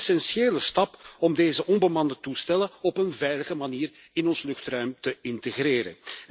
Een essentiële stap om deze onbemande toestellen op een veilige manier in ons luchtruim te integreren.